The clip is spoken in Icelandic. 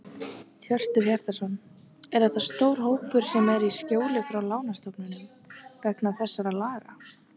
Hjörtur Hjartarson: Er þetta stór hópur sem er í skjóli frá lánastofnunum vegna þessara laga?